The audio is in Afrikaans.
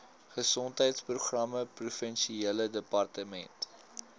gesondheidsprogramme provinsiale departement